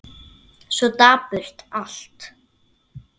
Svo dapurt allt.